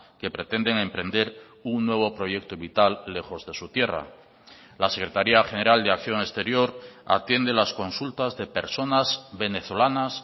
que pretenden emprender un nuevo proyecto vital lejos de su tierra la secretaría general de acción exterior atiende las consultas de personas venezolanas